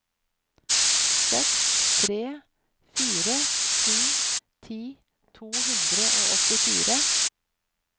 seks tre fire sju ti to hundre og åttifire